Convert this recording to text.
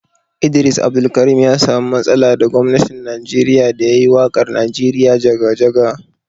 Idris Abdulkarim ya samu matsala da gwamnatin Najeriya da ya yi waƙar Najeriya jaga-jaga.